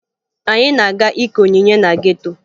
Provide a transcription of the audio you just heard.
Anyị na-aga ike onyinye na geto